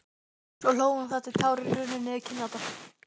Svo hló hún þar til tárin runnu niður kinnarnar.